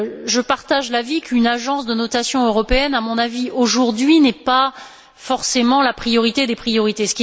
Je partage l'avis qu'une agence de notation européenne, aujourd'hui, ne soit pas forcément la priorité des priorités.